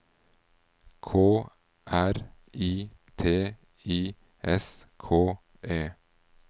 K R I T I S K E